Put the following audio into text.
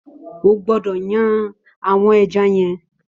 Ó gbọdọ yàn awọn ẹ̀já yen